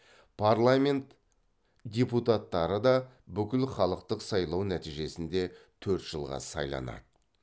парламент депутаттары да бүкілхалықтық сайлау нәтижесінде төрт жылға сайланады